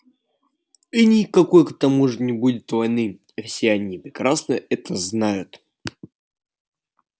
и никакой к тому же не будет войны и все они прекрасно это знают